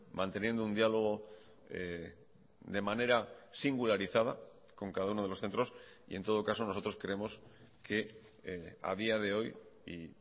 manteniendo un diálogo de manera singularizada con cada uno de los centros y en todo caso nosotros creemos que a día de hoy y